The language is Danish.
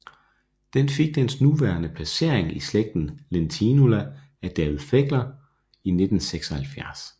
Den fik dens nuværende placering i slægten Lentinula af David Pegler i 1976